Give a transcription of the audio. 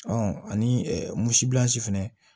ani fɛnɛ